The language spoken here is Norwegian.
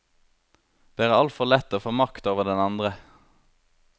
Det er altfor lett å få makt over den andre.